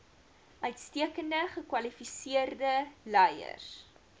uitstekend gekwalifiseerde leiers